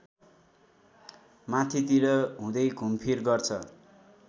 माथितिर हुँदै घुमफिर गर्छ